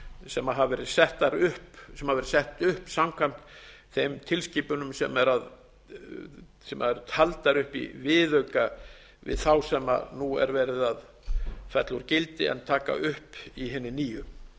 sem hafa verið sett upp samkvæmt þeim tilskipunum sem eru taldar upp í viðauka við þá sem nú er verið að fella úr gildi en taka upp í hinni nýju